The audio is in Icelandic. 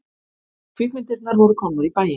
Kvikmyndirnar voru komnar í bæinn.